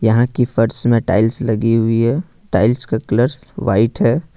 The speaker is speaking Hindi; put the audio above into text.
यहां की फर्स् में टाइल्स लगी हुई है टाइल्स का कलर व्हाइट हैं।